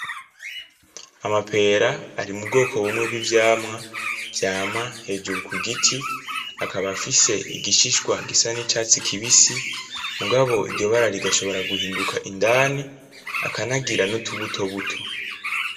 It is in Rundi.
Amapera ari mubwoko bumwe bw'ivyamwa, vyama hejuru kugiti akaba afise igishishwa gisa n'icatisi kibisi. Mugabo iryo bara rigashobora guhinduka indani, akanagira nutubutobuto.